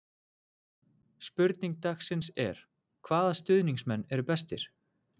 Spurning dagsins er: Hvaða stuðningsmenn eru bestir?